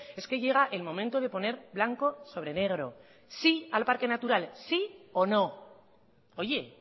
es que llega el momento de poner blanco sobre negro sí al parque natural sí o no oye